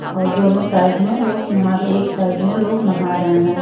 और दोनों साइड में लोग नहा रहे एक साइड में लोग नहा रहे हैं।